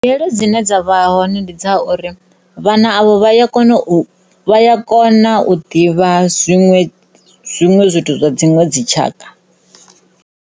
Mbuyelo dzine dza vha hone ndi dza uri vhana avho vha ya kona u, vha ya kona u ḓivha zwiṅwe, zwiṅwe zwithu zwa dziṅwe dzi tshaka.